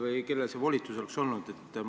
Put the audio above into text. Või kellel see volitus oleks olnud?